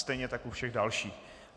Stejně tak u všech dalších.